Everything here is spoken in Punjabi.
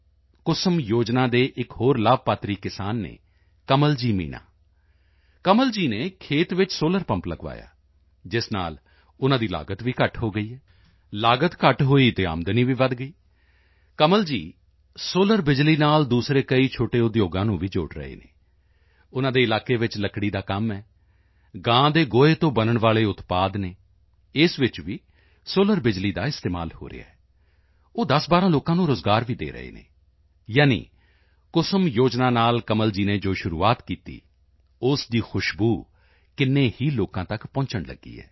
ਕੁਸੁਮ ਯੋਜਨਾ ਦੇ ਇੱਕ ਹੋਰ ਲਾਭਾਰਥੀ ਕਿਸਾਨ ਹਨ ਕਮਲ ਜੀ ਮੀਣਾ ਕਮਲ ਜੀ ਨੇ ਖੇਤ ਵਿੱਚ ਸੋਲਰ ਪੰਪ ਲਗਵਾਇਆ ਜਿਸ ਨਾਲ ਉਨ੍ਹਾਂ ਦੀ ਲਾਗਤ ਘੱਟ ਹੋ ਗਈ ਹੈ ਲਾਗਤ ਘੱਟ ਹੋਈ ਤਾਂ ਆਮਦਨੀ ਵੀ ਵਧ ਗਈ ਕਮਲ ਜੀ ਸੋਲਰ ਬਿਜਲੀ ਨਾਲ ਦੂਸਰੇ ਕਈ ਛੋਟੇ ਉਦਯੋਗਾਂ ਨੂੰ ਵੀ ਜੋੜ ਰਹੇ ਹਨ ਉਨ੍ਹਾਂ ਦੇ ਇਲਾਕੇ ਵਿੱਚ ਲੱਕੜੀ ਦਾ ਕੰਮ ਹੈ ਗਾਂ ਦੇ ਗੋਹੇ ਤੋਂ ਬਣਨ ਵਾਲੇ ਉਤਪਾਦ ਹਨ ਇਸ ਵਿੱਚ ਵੀ ਸੋਲਰ ਬਿਜਲੀ ਦਾ ਇਸਤੇਮਾਲ ਹੋ ਰਿਹਾ ਹੈ ਉਹ 1012 ਲੋਕਾਂ ਨੂੰ ਰੋਜ਼ਗਾਰ ਵੀ ਦੇ ਰਹੇ ਹਨ ਯਾਨੀ ਕੁਸੁਮ ਯੋਜਨਾ ਨਾਲ ਕਮਲ ਜੀ ਨੇ ਜੋ ਸ਼ੁਰੂਆਤ ਕੀਤੀ ਉਸ ਦੀ ਖੁਸ਼ਬੂ ਕਿੰਨੇ ਹੀ ਲੋਕਾਂ ਤੱਕ ਪਹੁੰਚਣ ਲਗੀ ਹੈ